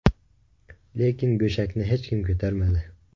Lekin go‘shakni hech kim ko‘tarmadi.